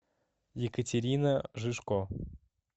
екатерина жижко